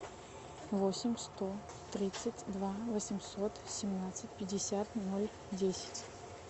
восемь сто тридцать два восемьсот семнадцать пятьдесят ноль десять